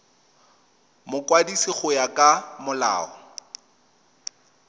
mokwadisi go ya ka molao